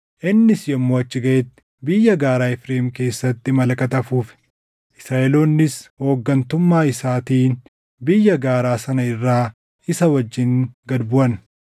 Innis yommuu achi gaʼetti biyya gaaraa Efreem keessatti malakata afuufe; Israaʼeloonnis hooggantummaa isaatiin biyya gaaraa sana irraa isa wajjin gad buʼan.